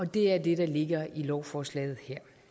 det er det der ligger i lovforslaget